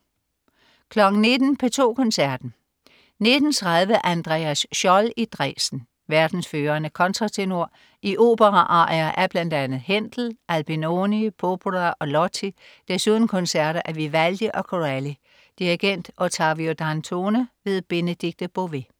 19.00 P2 Koncerten. 19.30 Andreas Scholl i Dresden. Verdens førende kontratenor i operaarier af bl.a. Händel, Albinoni, Popora og Lotti. Desuden koncerter af Vivaldi og Corelli. Dirigent: Ottavio Dantone. Benedikte Bové